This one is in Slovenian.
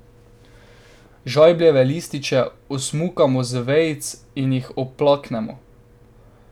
Žajbljeve lističe osmukamo z vejic in jih oplaknemo.